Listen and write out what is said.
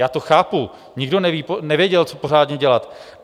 Já to chápu, nikdo nevěděl, co pořádně dělat.